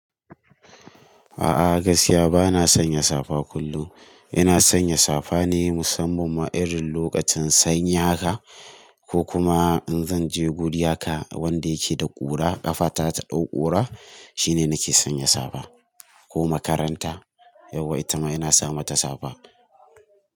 A'a, gaskiya ba na sanya safa kullum. Ina sanya safa ne musamman ma irin lokacin sanyi haka ko kuma in zan je guri ha ka wanda yake da ƙura, ƙafa ta ta ɗau ƙura shine nake sanya safa ko makaranta yawwa ita ma ina sa mata safa.